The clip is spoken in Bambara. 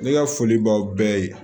Ne ka foli b'aw bɛɛ ye